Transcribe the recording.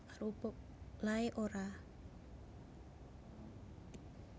Lae Ora